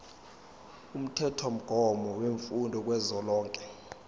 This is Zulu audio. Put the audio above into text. umthethomgomo wemfundo kazwelonke